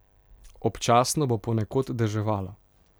Občasno bo ponekod deževalo.